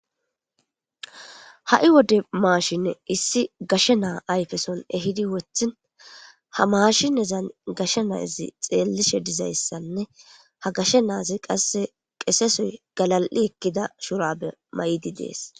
Ha'i wode mashine issi gashe na ayfeson ehidi wothin ha maashinezani gashe Nazi xeelishe dizaysanne ha gashe Nazi qase qese soy galal'i ekida shurabe mayidi Desi.